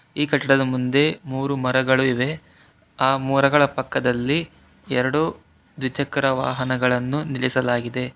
ಈ ಕಟ್ಟಡದ ಮುಂದೆ ಮೂರು ಮರಗಳು ಇವೆ ಆ ಮರಗಳ ಪಕ್ಕದಲ್ಲಿ ಎರಡು ದ್ವಿಚಕ್ರ ವಾಹನಗಳನ್ನು ನಿಲ್ಲಿಸಲಾಗಿದೆ.